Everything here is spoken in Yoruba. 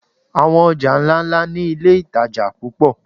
Àwọn ọjà ńláńlá ni iléìtajà púpọ̀.